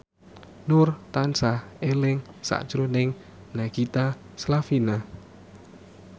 Nur tansah eling sakjroning Nagita Slavina